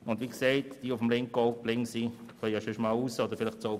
Ich habe eine kurze Replik: